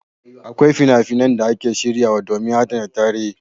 Akwai fina-finan da ake shiryawa domin adana tarihi.